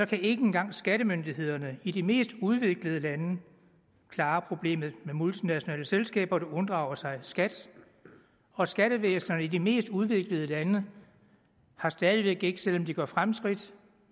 kan ikke engang skattemyndighederne i de mest udviklede lande klare problemet med multinationale selskaber der unddrager sig skat og skattevæsenerne i de mest udviklede lande har stadig væk ikke selv om de gør fremskridt